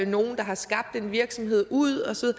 nogen der har skabt en virksomhed ud og så